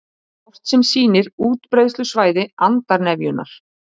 Kort sem sýnir útbreiðslusvæði andarnefjunnar